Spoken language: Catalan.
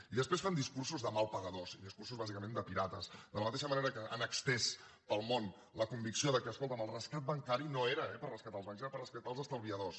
i després fan discursos de mal pagadors i discursos bàsicament de pirates de la mateixa manera que han estès pel món la convicció que escolta’m el rescat bancari no era eh per rescatar els bancs era per rescatar els estalviadors